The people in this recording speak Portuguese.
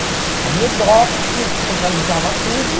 Havia o DOPS, que centralizava tudo.